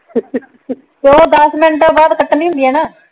ਓ ਦੱਸ ਮਿੰਟ ਬਾਅਦ ਕੱਟਣੀ ਹੁੰਦੀ ਆ ਨਾ।